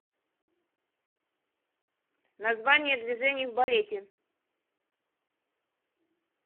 название движений в балете